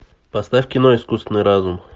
поставь кино искусственный разум